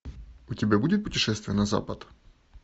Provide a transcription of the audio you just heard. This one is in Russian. у тебя будет путешествие на запад